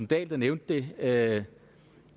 dahl der nævnte det at